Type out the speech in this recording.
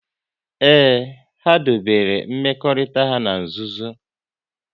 Ee, ha dobere mmekọrịta ha n'nzuzo